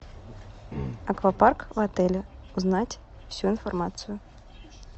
аквапарк в отеле узнать всю информацию